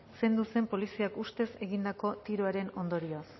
zendu zen poliziak ustez egindako tiroaren ondorioaz